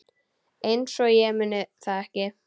Einsog ég muni það ekki!